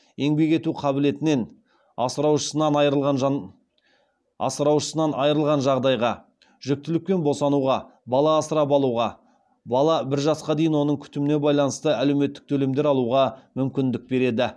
еңбек ету қабілетінен асыраушысынан айырылған жағдайға жүктілік пен босануға бала асырап алуға бала бір жасқа дейін оның күтіміне байланысты әлеуметтік төлемдер алуға мүмкіндік береді